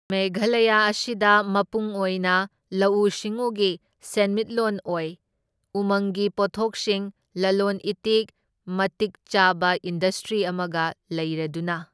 ꯃꯦꯘꯥꯂꯌꯥ ꯑꯁꯤꯗ ꯃꯄꯨꯡ ꯑꯣꯏꯅ ꯂꯧꯎ ꯁꯤꯡꯎꯒꯤ ꯁꯦꯟꯃꯤꯠꯂꯣꯟ ꯑꯣꯏ, ꯎꯃꯪꯒꯤ ꯄꯣꯊꯣꯛꯁꯤꯡ ꯂꯂꯣꯟ ꯏꯇꯤꯛ ꯃꯇꯤꯛ ꯆꯥꯕ ꯏꯟꯗꯁꯇ꯭ꯔꯤ ꯑꯃꯒ ꯂꯩꯔꯗꯨꯅ꯫